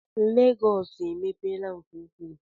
Lagos emepeela nke ukwuu